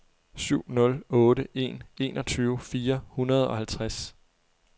syv nul otte en enogtyve fire hundrede og halvtreds